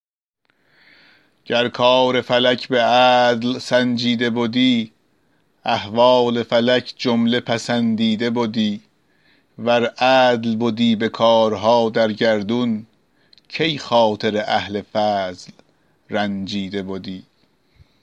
گر کار فلک به عدل سنجیده بدی احوال فلک جمله پسندیده بدی ور عدل بدی به کارها در گردون کی خاطر اهل فضل رنجیده بدی